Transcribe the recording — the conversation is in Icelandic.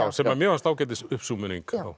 sem mér fannst ágætis